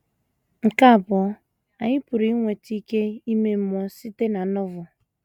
Nke abụọ, anyị pụrụ inweta ike ime mmụọ site na Novel.